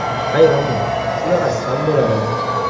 Hayronman, shunaqasi ham bo‘ladimi?